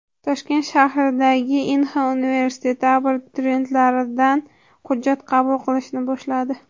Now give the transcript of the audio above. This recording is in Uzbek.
Toshkent shahridagi Inha universiteti abituriyentlardan hujjat qabul qilishni boshladi.